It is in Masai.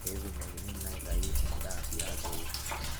petumokini naa aitau endaa tiabori .